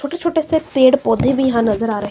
छोटे छोटे से पेड़ पौधे भीं यहाँ नज़र आ रहे--